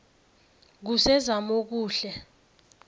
kusezamokuhle